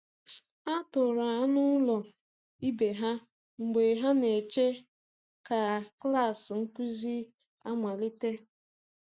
Ha toro anụ ụlọ ibe ha mgbe ha na-eche ka klas nkuzi amalite.